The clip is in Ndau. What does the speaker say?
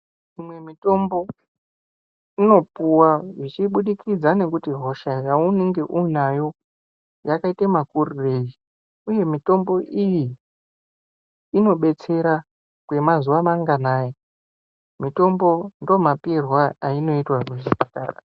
Imwe mitombo inopuva zvichibudikidza nekuti hosha yaunenge uinayo yakaite makurirei, uye mitombo iyi inobetsera kwemazuva manganai mutombo ndomapiirwe ainota muzvipatara.